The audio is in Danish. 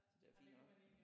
Så det er fint nok